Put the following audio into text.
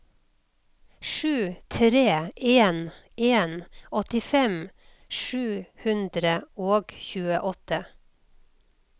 sju tre en en åttifem sju hundre og tjueåtte